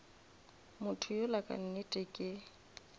motho yola ka nnete ke